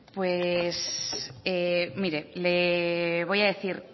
pues mire le voy a decir